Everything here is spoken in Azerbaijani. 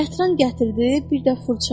Yatran gətirdi, bir də fırça.